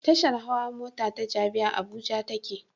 Tashar hawa mota ta Jabi, a Abuja take